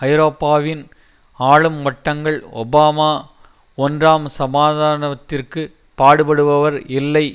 ஐரோப்பாவின் ஆளும் வட்டங்கள் ஒபாமா ஒன்றாம் சமாதானத்திற்கு பாடுபடுபடுவர் இல்லை